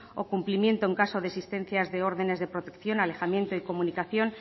o cumplimiento en caso de existencia de órdenes de protección alejamiento y comunicaciones